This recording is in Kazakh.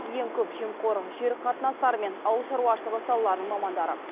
ең көп жемқор жер қатынастары мен ауылшаруашылығы салаларының мамандары